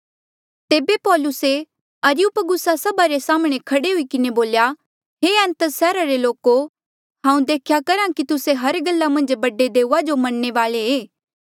तेबे पौलुसे अरियुपगुसा सभा रे साम्हणें खड़े हुई किन्हें बोल्या हे एथेंस सैहरा रे लोको हांऊँ देख्या करहा कि तुस्से हर गल्ला मन्झ बड़े देऊआ जो मनणे वाले ऐें